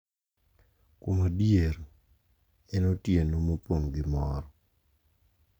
Kuom adier en otieno mopong' gi mor.